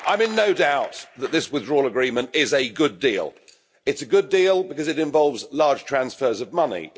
Madam President, I'm in no doubt that this withdrawal agreement is a good deal. It's a good deal because it involves large transfers of money.